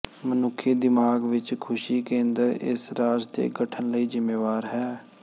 ਮਨੁੱਖੀ ਦਿਮਾਗ ਵਿਚ ਖੁਸ਼ੀ ਕੇਂਦਰ ਇਸ ਰਾਜ ਦੇ ਗਠਨ ਲਈ ਜ਼ਿੰਮੇਵਾਰ ਹੈ